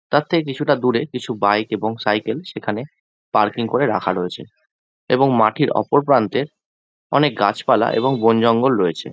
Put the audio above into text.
তার থেকে কিছুটা দূরে কিছু বাইক এবং সাইকেল সেখানে পার্কিং করে রাখা রয়েছে। এবং মাটির ওপর প্রান্তে অনেক গাছপালা এবং বনজঙ্গল রয়েছে।